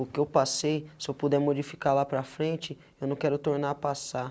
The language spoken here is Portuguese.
O que eu passei, se eu puder modificar lá para frente, eu não quero tornar passar.